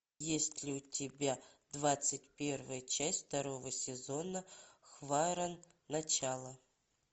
есть ли у тебя двадцать первая часть второго сезона хваран начало